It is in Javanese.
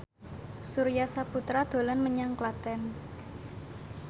Surya Saputra dolan menyang Klaten